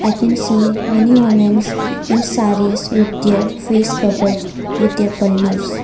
i can see many womens in sarees with their face cobered with their pallus .